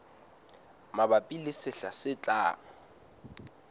mabapi le sehla se tlang